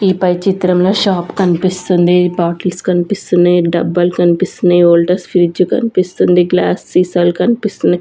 ఈ పై చిత్రంలో షాప్ కన్పిస్తుంది బాటిల్స్ కన్పిస్తున్నాయ్ డబ్బాలు కన్పిస్తున్నాయ్ వోల్టాస్ ఫ్రిడ్జ్ కనిపిస్తుంది గ్లాస్ సీసాలు కన్పిస్తున్నాయ్.